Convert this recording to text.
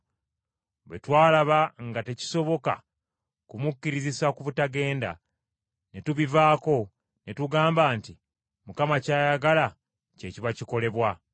Bwe twalaba nga tekisoboka kumukkirizisa butagenda, ne tubivaako, ne tugamba nti, “Mukama ky’ayagala kye kiba kikolebwa.”